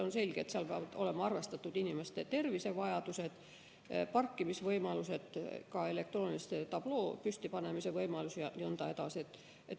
On selge, et peavad olema arvestatud inimeste tervisevajadused, parkimisvõimalused, ka elektroonilise tabloo püstipanemise võimalus jne.